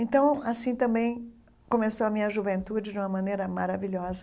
Então, assim também começou a minha juventude de uma maneira maravilhosa.